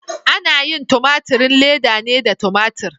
Ana yin tumaturin leda ne da tumatur.